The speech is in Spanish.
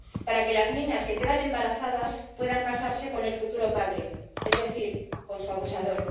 Para que las niñas que quedan embarazadas puedan casarse con el futuro padre, es decir con su abusador.